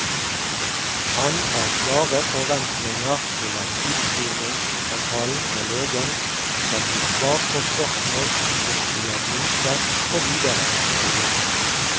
Han har klare forventninger til at utskrivningssamtalen med legen skal gi svar på spørsmål om diagnose og videre oppfølging.